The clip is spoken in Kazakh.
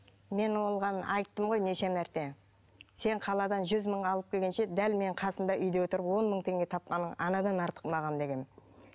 мен оған айттым ғой неше мәрте сен қаладан жүз мың алып келгенше дәл мен қасыңда үйде отырып он мың теңге тапқаның анадан артық маған дегенмін